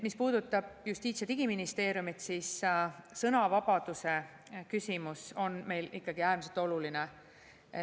Mis puudutab Justiits- ja Digiministeeriumit, siis sõnavabaduse küsimus on meil ikkagi äärmiselt oluline.